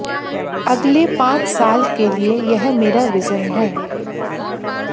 अगले पांच साल के लिए यह मेरा विजन है